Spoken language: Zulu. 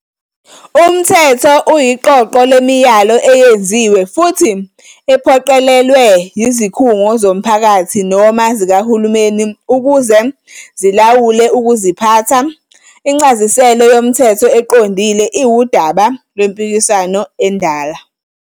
Umthetho uyiqoqo lemiyalo eyenziwe futhi ephoqelelwa yizikhungo zomphakathi noma zikahulumeni ukuze zilawula ukuziphatha, incasiselo yomthetho eqondile iwudaba lwempikiswano endala.